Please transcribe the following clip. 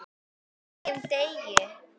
HVERJUM DEGI!